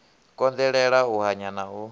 konḓelela u hanya na u